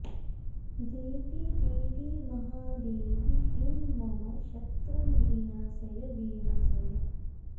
देवि देवि महादेवि ह्रीं मम शत्रून् विनाशय विनाशय